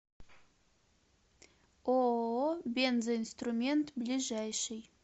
ооо бензоинструмент ближайший